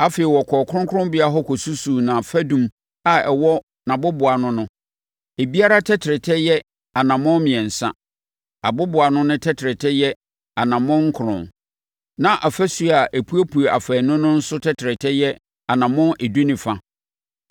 Afei ɔkɔɔ kronkronbea hɔ kɔsusuu nʼafadum a ɛwɔ nʼaboboano no; ebiara tɛtrɛtɛ yɛ anammɔn mmiɛnsa. Aboboano no tɛtrɛtɛ yɛ anammɔn nkron, na afasuo a epuepue afaanu no nso tɛtrɛtɛ yɛ anammɔn edu ne fa.